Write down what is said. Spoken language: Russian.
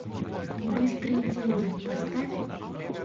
быстрые деньги поставь